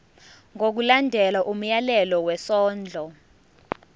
ngokulandela umyalelo wesondlo